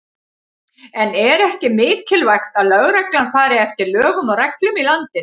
En er ekki mikilvægt að lögreglan fari eftir lögum og reglum í landinu?